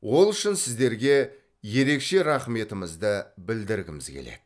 ол үшін сіздерге ерекше рақметімізді білдіргіміз келеді